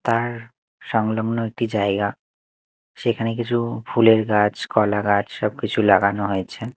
তার সংলগ্ন একটি জায়গা সেখানে কিছু ফুলের গাছ কলা গাছ সবকিছু লাগানো হয়েছে।